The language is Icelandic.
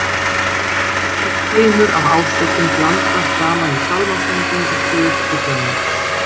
Örlítill keimur af ásökun blandast saman við sálmasönginn og suð flugnanna.